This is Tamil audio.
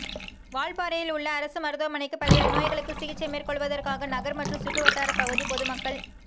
வால்பாறையில் உள்ள அரசு மருத்துவமனைக்கு பல்வேறு நோய்களுக்கு சிகிச்சை மேற்கொள்வதற்காக நகா் மற்றும் சுற்றுவட்டாரப் பகுதி பொதுமக்கள்